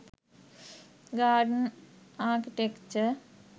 garden architecture